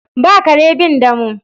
Ba kare bin damo.